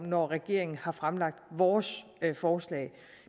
når regeringen har fremlagt vores forslag